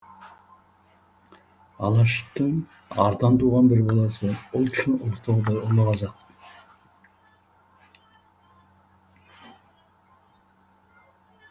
алаштың ардан туған бір баласы ұлт үшін ұлытаудай ұлы қазақ